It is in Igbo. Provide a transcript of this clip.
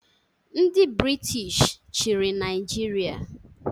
Ndị Brịtish chiri Naijịria